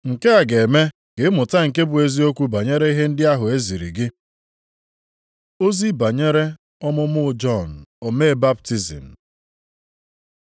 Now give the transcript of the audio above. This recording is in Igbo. Nke a ga-eme ka ị mata nke bụ eziokwu banyere ihe ndị ahụ e ziri gị. Ozi banyere ọmụmụ Jọn omee baptizim